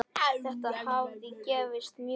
Þetta hafi gefist mjög vel.